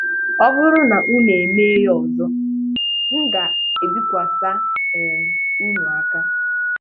ọ buru na unu e mee ya ọzọ, m ga-ebikwasị um ụnụ aka.